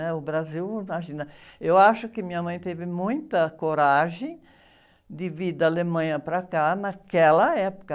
né? O Brasil, imagina, eu acho que minha mãe teve muita coragem de vir da Alemanha para cá naquela época.